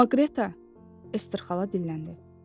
Amma Qreta Ester xala dilləndi.